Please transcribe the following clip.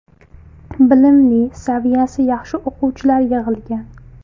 Bilimli, saviyasi yaxshi o‘qituvchilar yig‘ilgan.